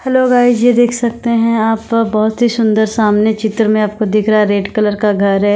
Hello guys ये देख सकते हैं आप बहोत ही सुंदर सामने चित्र में आपको दिख रहा है रेड कलर का घर है।